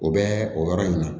O bɛ o yɔrɔ in na